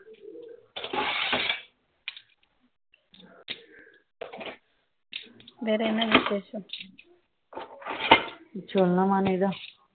வேற என்ன விஷேஷம் சொல்லுமா நீ தா